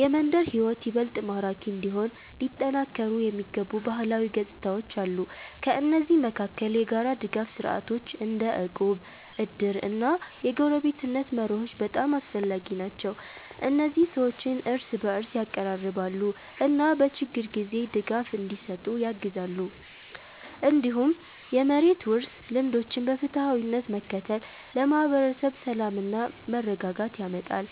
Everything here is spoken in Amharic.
የመንደር ሕይወት ይበልጥ ማራኪ እንዲሆን ሊጠናከሩ የሚገቡ ባህላዊ ገጽታዎች አሉ። ከእነዚህ መካከል የጋራ ድጋፍ ስርዓቶች እንደ እቁብ፣ እድር እና የጎረቤትነት መርሆች በጣም አስፈላጊ ናቸው። እነዚህ ሰዎችን እርስ በእርስ ያቀራርባሉ እና በችግር ጊዜ ድጋፍ እንዲሰጡ ያግዛሉ። እንዲሁም የመሬት ውርስ ልምዶችን በፍትሃዊነት መከተል ለማህበረሰብ ሰላምና መረጋጋት ያመጣል።